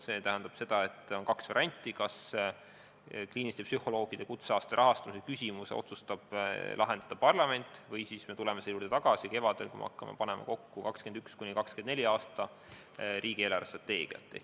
See tähendab, et on kaks varianti: kas kliiniliste psühholoogide kutseaasta rahastamise küsimuse otsustab lahendada parlament või me tuleme selle juurde tagasi kevadel, kui hakkame panema kokku 2021.–2024. aasta riigi eelarvestrateegiat.